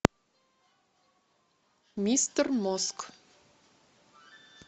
мистер мозг